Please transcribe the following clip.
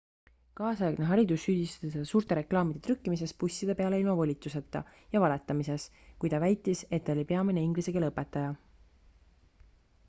kaasaegne haridus süüdistas teda suurte reklaamide trükkimises busside peale ilma volituseta ja valetamises kui ta väitis et ta oli peamine inglise keele õpetaja